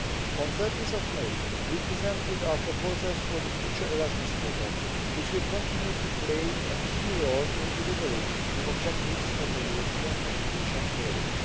On 30 May, we presented our proposals for the future Erasmus programme, which will continue to play a key role in delivering the objectives of the European education area.